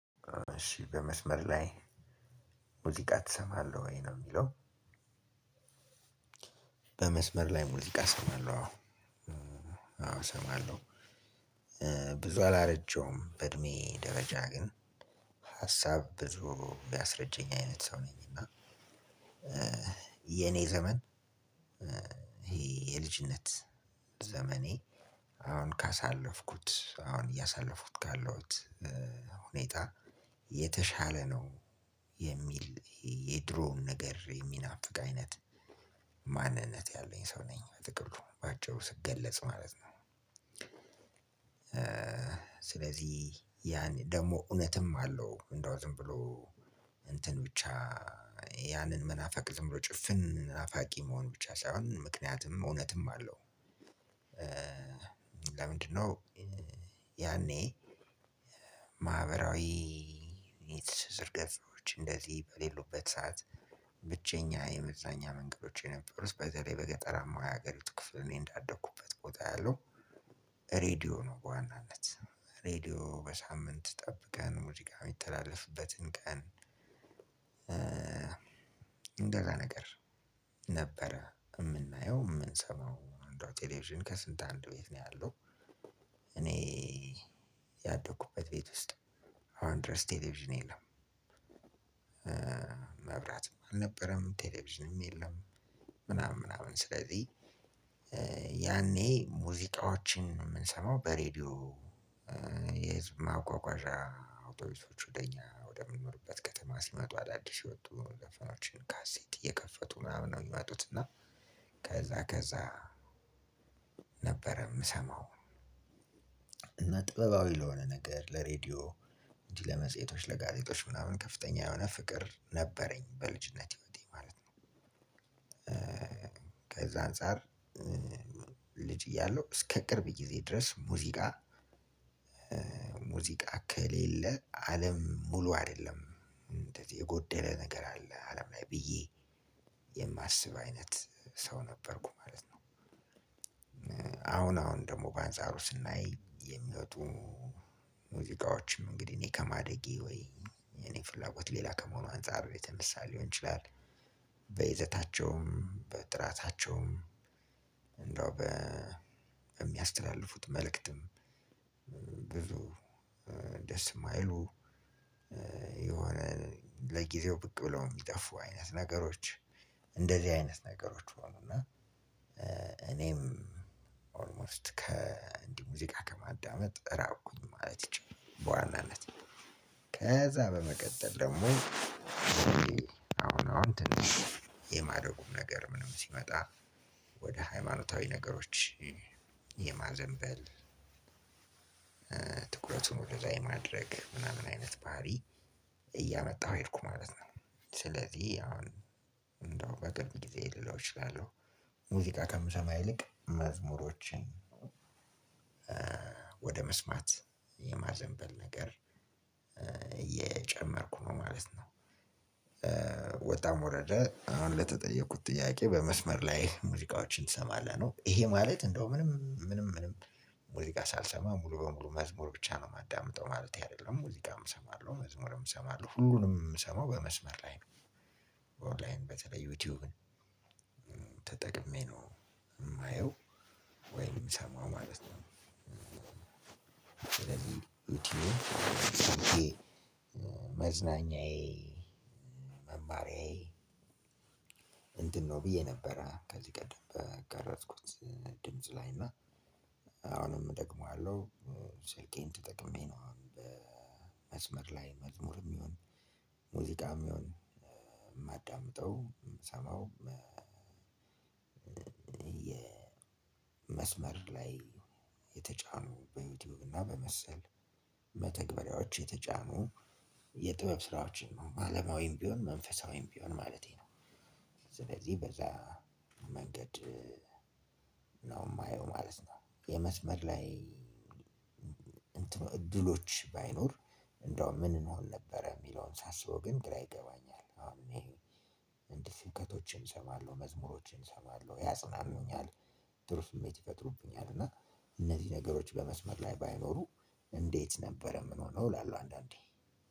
እሺ በመስመር ላይ ሙዚቃ ትሰማለህ ወይ ነው የሚለው? በመስመር ላይ ሙዝቃ እሰማለሁ አዎ እሰማለሁ። ብዙ አላረጀውም በእድሜ ደረጃ ግን ሀሳብ ብዙ ቢያስረጀኝ አይነት ሰው ነኝና። የኔ ዘመን ይሄ የልጅነት ዘመኔ አሁን ካሳለፍኩት አሁን እያሳለፉት ካለሁት ሁኔታ የተሻለ ነው የሚል የድሮውን ነገር የሚናፍቅ አይነት። ማንነት ያለኝ ሰው ነኝ በጥቅሉ ባጭሩ ስትገለጽ ማለት ነው። ስለዚህ ያን ደግሞ እውነትም አለው እንደው ዝም ብሎ እንትን ብቻ ያንን መናፋቅ ዝም ብሎ ጭፍን ናፋቂ መሆን ብቻ ሳይሆን ምክንያትም እውነትም አለው። ለምንድነው? ያኔ ማህበራዊ የትሽር ገጾች እንደዚህ በሌሉበት ሰዓት ብቸኛ የመዛኛ መንገዶች የነበሩት በዚህ ላይ በገጠራማ የሀገሪቱ ክፍል እኔ እንዳደኩበት ቦታ ያለው ሬዲዮ ነው በዋናነት። ሬዲዮ በሳምንት ጠብቀን ሙሉ ጋር የሚተላለፍበትን ቀን። እንደዛ ነገር ነበረ የምናየው የምንሰማው እንደው ቴሌቪዥን ከስንት አንድ ቤት ያለው እኔ ያደኩበት ቤት ውስጥ አሁን ድረስ ቴሌቪዥን የለም። መብራትም አልነበረም ቴሌቪዥንም የለም። ምናምን ምናምን ስለዚህ ያኔ ሙዚቃዎችን የምንሰማው በሬዲዮ የህዝብ ማጓጓዣ አውቶቢሶች ወደ እኛ ወደምንኖርበት ከተማ ሲመጡ አዳዲስ የወጡ ዘፈኖችን ካሴት እየከፈቱ ምናምን ነው የሚያውቁት። እና ከዛ ከዛ ነበር የምሰማው። እና ጥበባዊ ለሆነ ነገር ለሬዲዮ እንጂ ለመጽሄቶች ለጋዜጦች ምናምን ከፍተኛ የሆነ ፍቅር ነበረኝ በልጅነት ህይወቴ ማለት ነው። ከዛ አንፃር ልጅ እያለሁ እስከ ቅርብ ጊዜ ድረስ ሙዚቃ ሙዚቃ ከሌለ አለም ሙሉ አይደለም የጎደለ ነገር አለ አለም ላይ ብዬ የማስብ አይነት ሰው ነበርኩ ማለት ነው። አሁን አሁን በአንጻሩ ስናይ የሚወጡ ሙዚቃዎችም እንግዲህ እኔ ከማደጌ ወይ እኔ ፍላጎት ሌላ ከመሆኑ አንፃር ቤት የተነሳ ሊሆን ይችላል። በይዘታቸውም በጥራታቸውም ጥራታቸውም እንደው በ በሚያስተላልፉት መልእክትም ብዙ ደስ የማይሉ የሆነ ለጊዜው ብቅ ብለው የሚጠፉ አይነት ነገሮች እንደዚህ አይነት ነገሮች ሆኑ እና እኔም ኦልሞስት ከእንዲህ ሙዚቃ ከማዳመጥ ራቁኝ ማለት ይችላል። በዋናነት ከዛ በመቀጠል ደግሞ አሁን አሁን ትንሽ የማደጉም ነገር ምንም ሲመጣ ወደ ሃይማኖታዊ ነገሮች የማዘንበል ትኩረቱን ወደዛ የማድረግ ምናምን አይነት ባህሪ እያመጣሁ ሄድኩ ማለት ነው። ስለዚህ አሁን እንደው በቅርብ ጊዜ ልለው እችላለሁ። ሙዚቃ ከምሰማ ይልቅ መዝሙሮችን ወደ መስማት የማዘንበል ነገር እየጨመርኩ ነው ማለት ነው። ወጣ ወረደ አሁን ለተጠየቁት ጥያቄ በመስመር ላይ ሙዚቃዎችን ትሰማለህ ነው ይሄ ማለት እንደው ምንም ምንም ምንም ሙዚቃ ሳልሰማ ሙሉ በሙሉ መዝሙር ብቻ ነው የማዳምጠው ማለት አይደለም ሙዚቃም እሰማለሁ መዝሙርም እሰማለሁ። ሁሉንም የምሰማው በመስመር ላይ ነው። ኦንላይን በተለይ ዩቲዩብን ተጠቅሜ ነው የማየው ወይንም የምሰማው ማለት ነው። ስለዚህ ዩቲዩብ መዝናኛዬ መማሪያዬ እንትን ነው ብዬ ነበር ከዚህ ቀደም በገረጽኩት ድምጽ ላይና አሁንም እደግመዋለሁ። መማሪያዬ እንትን ነው ብዬ ነበር ከዚህ ቀደም በገረጽኩት ድምጽ ላይና አሁንም እደግመዋለሁ። ስልኬን ተጠቅሜ ነው አሁን በመስመር ላይ መዝሙርም ይሁን ሙዚቃም ይሁን የማዳምጠው ምሰማው የመስመር ላይ የተጫኑ በዩቱብ ና በመሰል መተግበርያዎች የተጫኑ የጥበብ ስራዎችን አለማዊም ብሆን መንፈሳዊም ብሆን ማለቴ ስለዚህ በዛ መንገድ ነው የማየው ማለት ነው። የመስመር ላይ እድሎች ባይኖር እንደው ምን እንሆን ነበረ የሚለውን ሳስበው ግራ ይገባኛል እኔ። እንዲህ ስብከቶችን እሰማለሁ መዝሙሮችን እሰማለሁ ያጽናኑኛል ጥሩ ስሜት ይፈጥሩብኛል እና እነዚህ ነገሮች በመስመር ላይ ባይኖሩ እንዴት ነበረ ምን ሆነው እላለሁ አንዳንዴ።